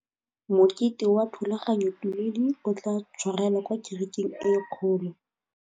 Mokete wa thulaganyôtumêdi o tla tshwarelwa kwa kerekeng e kgolo.